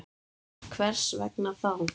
Hvers vegna þá?